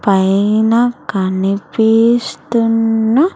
పైన కనిపిస్తున్న.